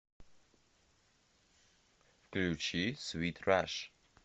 включи свит раш